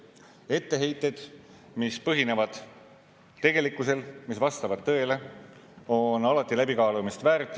Etteheited, mis põhinevad tegelikkusel, mis vastavad tõele, on alati läbikaalumist väärt.